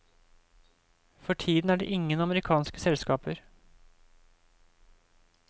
For tiden er det ingen amerikanske selskaper.